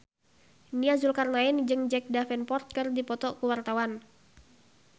Nia Zulkarnaen jeung Jack Davenport keur dipoto ku wartawan